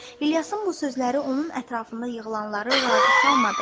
İlyasın bu sözləri onun ətrafında yığılanları razı salmadı.